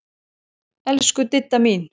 Elsku Didda mín.